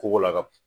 Koko la ka b